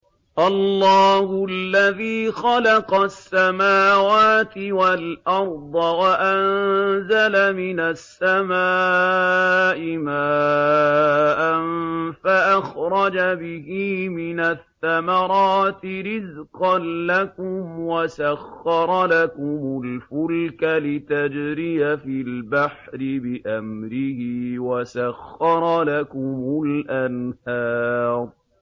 اللَّهُ الَّذِي خَلَقَ السَّمَاوَاتِ وَالْأَرْضَ وَأَنزَلَ مِنَ السَّمَاءِ مَاءً فَأَخْرَجَ بِهِ مِنَ الثَّمَرَاتِ رِزْقًا لَّكُمْ ۖ وَسَخَّرَ لَكُمُ الْفُلْكَ لِتَجْرِيَ فِي الْبَحْرِ بِأَمْرِهِ ۖ وَسَخَّرَ لَكُمُ الْأَنْهَارَ